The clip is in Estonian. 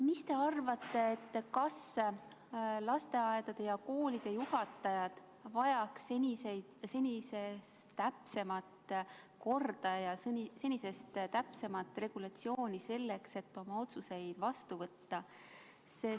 Mis te arvate, kas lasteaedade ja koolide juhatajad vajaks senisest täpsemat korda ja senisest täpsemat regulatsiooni selleks, et oma otsuseid vastu võtta?